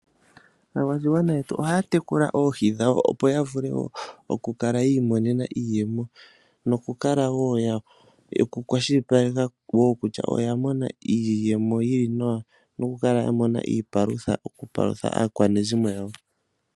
Aakwashigwana yetu ohaya tekula oohi dhawo opo ya vule oku kala ya imonena iiyemo, noku kala wo ya kwashilipaleka kutya oya mona iiyemo yi li nawa opo ya paluthe aakwanezimo yawo.